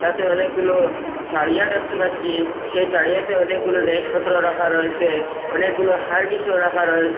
এতাতে অনেকগুলো তাড়িয়া দেখতে পাচ্চি সেই তাড়িয়াতে অনেকগুলো জিনিসপত্র রাখা রয়েসে অনেকগুলো হারগিসও রাখা রয়েসে।